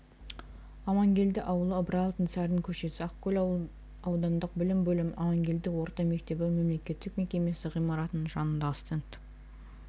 амангелді ауылы ыбырай алтынсарин көшесі ақкөл аудандық білім бөлімінің амангелді орта мектебі мемлекеттік мекемесі ғимаратының жанындағы стенд